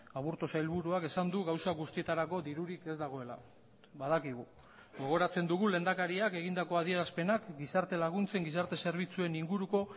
aburto sailburuak esan du gauza guztietarako dirurik ez dagoela badakigu gogoratzen dugu lehendakariak egindako adierazpenak gizarte laguntzen gizarte zerbitzuen inguruko